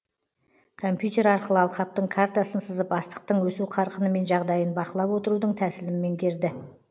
компьютер арқылы алқаптың картасын сызып астықтың өсу қарқыны мен жағдайын бақылап отырудың тәсілін меңгерді